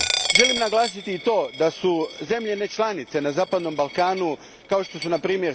Želim naglasiti i to da su zemlje ne članice na zapadnom Balkanu kao što su npr.